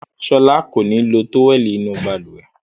Rárá, Ṣọlá kò ní lo tówẹ́lì inú balùwẹ̀.